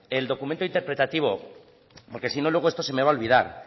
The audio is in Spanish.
el documento interpretativo porque sino luego esto se me va a olvidar